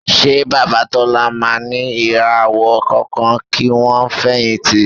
Ṣé Bàbá Tọ́lá máa ní ìràwọ̀ kankan kí wọ́n fẹ̀yìntì?